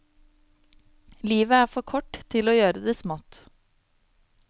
Livet er for kort til å gjøre det smått.